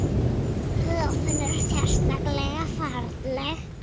Höfnin er sérleg falleg.